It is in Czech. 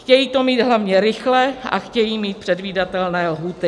Chtějí to mít hlavně rychle a chtějí mít předvídatelné lhůty.